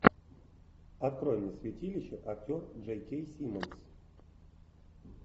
открой мне святилище актер джей кей симмонс